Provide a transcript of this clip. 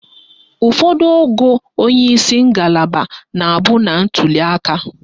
Ụfọdụ ogo onyeisi ngalaba na-abụ na ntuliaka.